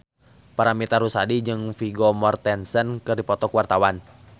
Paramitha Rusady jeung Vigo Mortensen keur dipoto ku wartawan